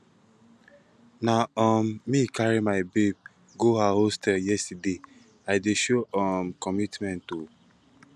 na um me carry my babe go her hostel yesterday i dey show um commitment o